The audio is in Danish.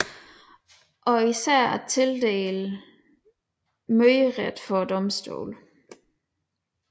Og især at tildele møderet for domstolene